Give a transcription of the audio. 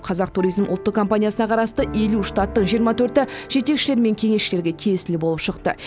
қазақ туризм ұлттық компаниясына қарасты елу штаттың жиырма төрті жетекшілер мен кеңесшілерге тиесілі болып шықты